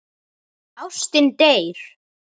Ástin deyr.